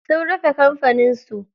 Sun rufe kamfanin su.